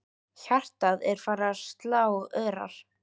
Hjartað er farið að slá örar.